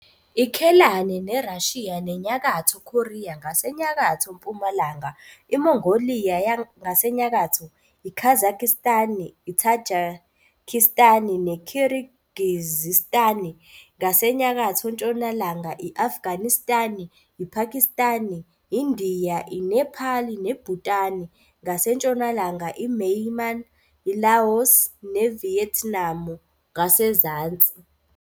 IKhelane neRashiya neNyakatho Khoriya ngasenyakatho-mpumalanga, iMongoliya ngasenyakatho, iKazakhistani, iThajikhistani neKhirigizistani ngasenyakatho-ntshonalanga, i-Afganistani, iPhakistani, iNdiya, iNephali neBhutani ngasentshonalanga, iMyanmar, iLaos, ne Viyetnamu ngasenzansi.